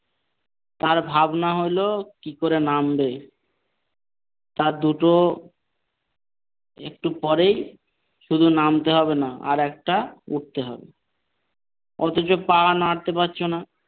তার ভাবনা হলো কি করে নামবে তার দুটো একটু পরেই শুধু নামতে হবে না আর একটা উঠতে হবে অথচ পা নাড়াতে পারছিনা ।